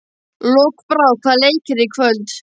Lokbrá, hvaða leikir eru í kvöld?